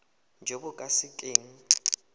jo bo ka se keng